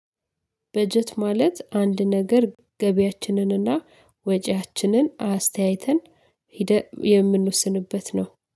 በጀት ማለት አንድ ነገር ገበያችንንና ወጪያችንን አስተያይተን ህዴ የምንወስንበት ነው።